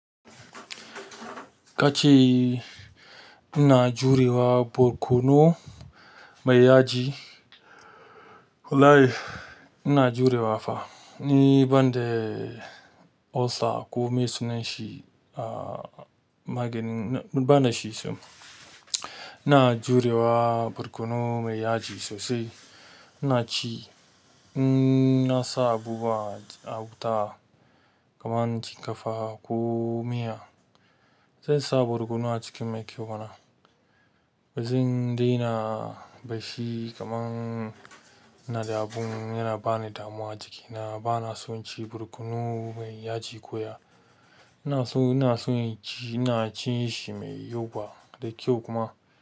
Kace ina jurewa barkono mai yaji. Wallahi ina jurewa fa. Ni banda ulcer ko me sunanshi, a maganin bana shi so. Ina jurewa burkunu mai yaji sosai. Ina ci, n'na sa abubuwa a wuta kaman cinkafa ko miya. Zai sa barkono a cikin mai kyau mana. Ba zan daina da shi kaman ina da abin yana bani damuwa jikina. Bana so in ci barkono mai yaji koya. Ina so ina so in ci ina cin shi mai yawa da kyau kuma.